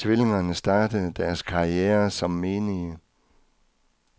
Tvillingerne startede deres karrierer som menige.